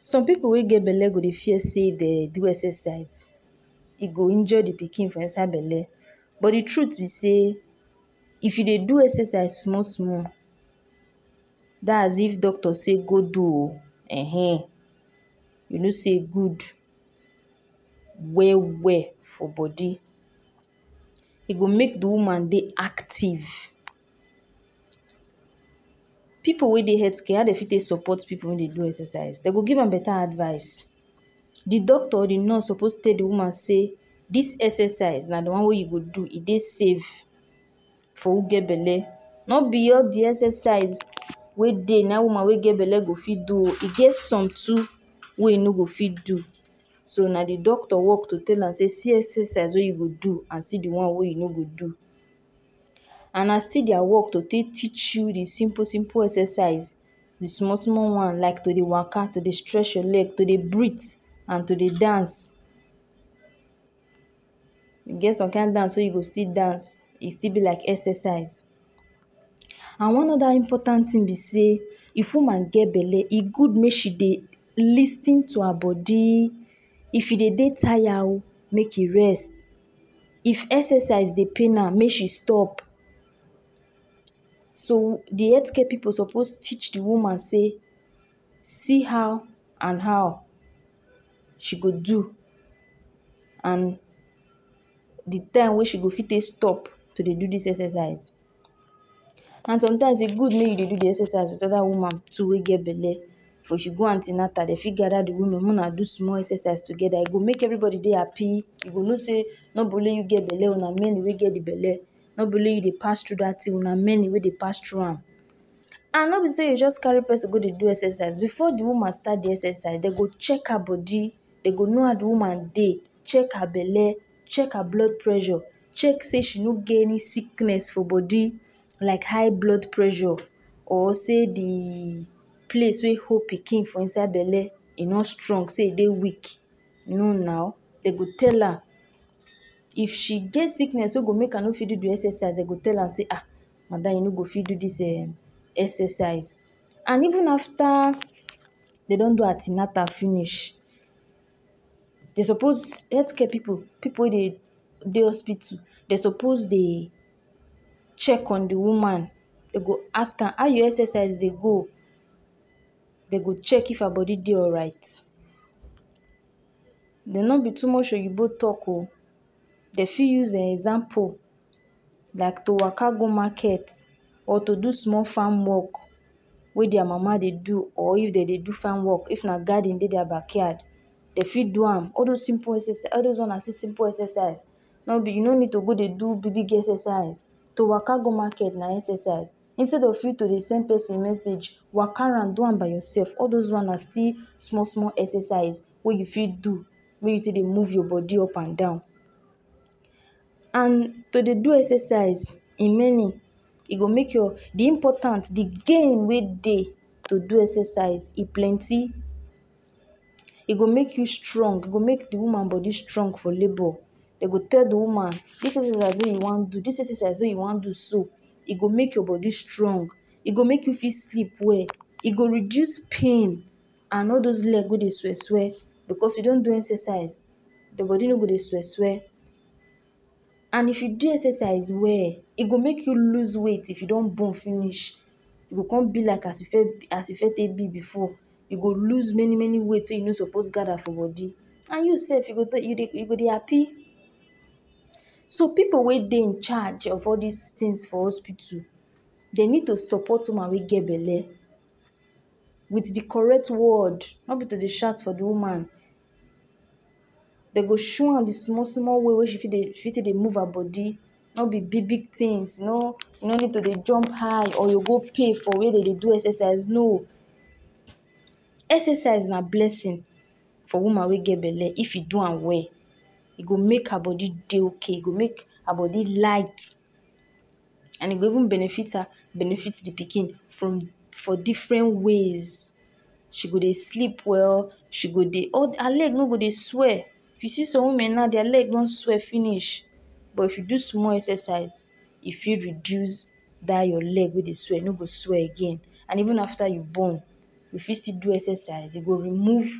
Some pipu wey get belle go Dey fear sey if dem do exercise ee go injure de pikin for inside belle but de truth be sey if you Dey do exercise small small dat is if doctor sey go do oo ehen you know sey e good well well for body e go make de woman Dey active Pipu wey Dey health how dem go take support pipu make dem do exercise dem go give am better advice de doctor or de nurse suppose tell de woman sey dis exercise na de wan wey you suppose do e Dey safe for sho get belle no be all de exercise wey Dey na im woman wey get belle go fit do ooo e get some too wey you no go fit do so na de doctor work wey I’m go tell am sey see excercise wey you go fit do and see one wey you no go do and na still dia work to take teach you de simple simple excercise de small small once like to Dey woka to Dey stretch your leg to Dey breath and to Dey dance ee get some kin dance wey you go still dance e still b like exercise and one oda important thing b sey if woman get belle e good make she Dey lis ten to her body if she Dey Dey tire ooo make she rest if exercise pain am make she stop so de health care pipu suppose teach de woman sey see how and how she go do and de time wey she go fit take stop to Dey do dis exercise and sometimes e Dey good make you Dey do de exercise with oda woman too wey get de belle if she go antinatal dem for gader de women make wunna do de excercise together e go make everybody Dey happy you go no Dey na b only you get belle oo na many wey get de belle no be only you Dey pass through dat thing wunna many wey Dey pass through am and no be sey you go just carry person go de do excercise before de woman start do exercise dem go check her body dem go know how de woman Dey check her belle check her blood pressure check sey she no get any sickness for body like high blood pressure or sey de place wey hold pikin for belle sey e no strong sey e Dey weak no now dem go tell her, if she get sickness wey she no go fit do de exercise dem go tell her sey ah madam you no go fit do dis eh exercise and even after dem don do antinatal finish dem suppose health care pipu, pipu wey Dey Dey hospital Dey suppose Dey check on de woman dem go ask am how your exercise Dey go dem go check if her body Dey alright but no b too much oyinbo talk oo dem fit use wxample like to woka go market or to do small farm work wey dia mama Dey do or if dem Dey do farm work or if na garden Dey dia backyard dem fit do am all dose one na simple exercise no be you no need Dey go Dey do big big exercise to woka go market na exercise instead of you to Dey send person message woka am do am by your self all dose one na still small small exercise wey you fit do make you take Dey move your body up and down and to Dey do excercise e many de important de gain wey Dey to do excercise e plenty e go make you strong e go make de woman body strong for labor dem go tell Dey woman dis exercise wey you wan do dis exercise wey you wan do so e go make you body strong e go make you sleep well e go reduce pain and all dose leg wey Dey swell swell if you don do exercise your body no go Dey swell swell and if you do exercise well e go make you lose weight if you don born finish you go come be like as you first take b before you go loss many many weight wey you no suppose take gather for body and you sef you go Dey happy So pipu wey Dey incharge of all dis things for hospital dem need to support woman wey get belle with de correct word no be to Dey shout for de woman dem go show am de small small way wey she go take Dey move her body no b big big things you no need to Dey jump high or you go pay for wey dem Dey do excercise no excercise na blessing for woman wey get belle if e do am well e go make her body Dey okay e go make her body light and e go even benefit her benefit de pikin for different ways she go Dey sleep well she go Dey her leg no go Dey swell if you see some women now dia leg don swell finish but if you do small excercise e fit reduce say your leg wey Dey swell e no go swell again and even after you born you fit still do exercise e go remove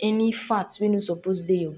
any fat wey no suppose Dey